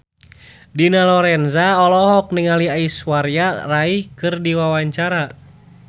Dina Lorenza olohok ningali Aishwarya Rai keur diwawancara